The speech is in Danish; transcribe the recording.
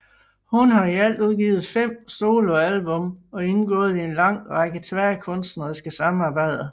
Hun har i alt udgivet 5 soloalbum og indgået i en lang række tværkunstneriske samarbejder